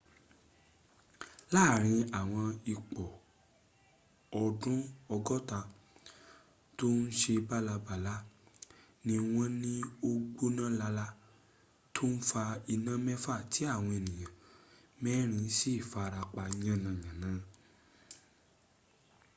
láàrin àwọn ípọọ̀dù ọgọ́ta tó ń se bálabàla ní wọ́m ní ó ń gbóná lala tó fa iná mẹ́fà tí àwọn èèyàn mẹ́rìn in sì farapa yánayàna